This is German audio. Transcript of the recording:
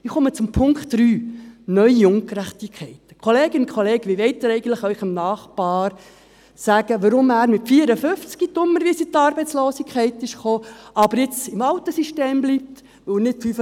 Ich komme zu Punkt 3, neue Ungerechtigkeiten: Kolleginnen und Kollegen, wie wollen Sie Ihrem Nachbarn erklären, warum er mit 54 Jahren dummerweise in die Arbeitslosigkeit gekommen ist, aber jetzt im alten System bleibt, weil er nicht 55 Jahre alt war?